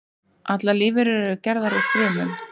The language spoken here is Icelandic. Allar lífverur eru gerðar úr frumum.